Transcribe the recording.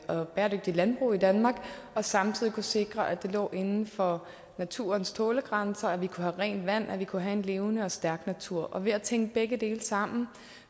og bæredygtigt landbrug i danmark og samtidig kunne sikre at det lå inden for naturens tålegrænser altså at vi kunne have rent vand og at vi kunne have en levende og stærk natur og ved at tænke begge dele sammen